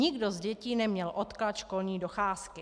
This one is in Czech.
Nikdo z dětí neměl odklad školní docházky.